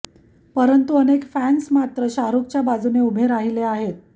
परंतु अनेक फॅन्स मात्र शाहरुखच्या बाजूने उभे राहिले आहेत